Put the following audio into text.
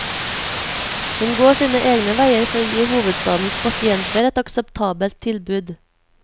Hun går sine egne veier for å gi hovedstadens pasienter et akseptabelt tilbud.